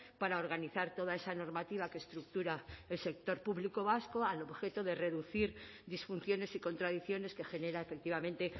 para organizar toda esa normativa que estructura el sector público vasco al objeto de reducir disfunciones y contradicciones que genera efectivamente